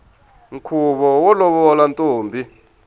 nkhuvo wo lovola ntombi